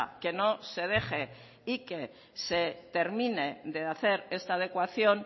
que no se deje y que se termine de hacer esta adecuación